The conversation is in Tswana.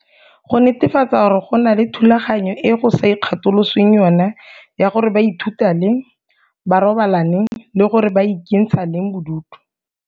Go netefatsa gore go na le thulaganyo e go sa ikgatolosweng yona ya gore ba ithuta leng, ba robala neng le gore ba ikentsha leng bodutu.